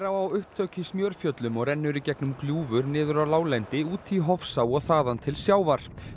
á upptök í Smjörfjöllum og rennur í gegnum gljúfur niður á láglendi út í Hofsá og þaðan til sjávar